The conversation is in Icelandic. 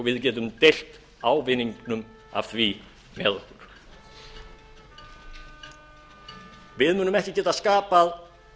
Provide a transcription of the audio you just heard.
við getum deilt ávinningnum af því með okkur við munum ekki geta skapað